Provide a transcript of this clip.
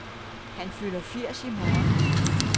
Han fylder firs år i morgen.